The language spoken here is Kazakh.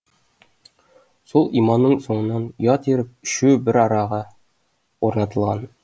сол иманның соңынан ұят еріп үшеуі бір араға орнатылған